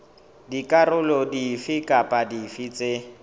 dikarolo dife kapa dife tse